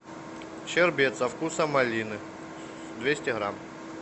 щербет со вкусом малины двести грамм